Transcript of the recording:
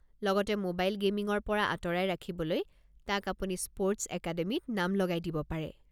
লগতে ম'বাইল গে'মিঙৰ পৰা আঁতৰাই ৰাখিবলৈ তাক আপুনি স্পৰ্টছ একাডেমীত নাম লগাই দিব পাৰে।